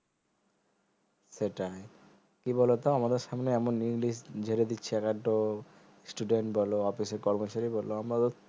সেটায় কি বলতো আমাদের সামনে এমন english যেরে দিচ্ছে একাদতো student বলো office এর কর্মচারী বলো আমরাতো